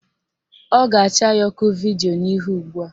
Ọ ga-acha ya ọkụ vidio n'ihu ugbua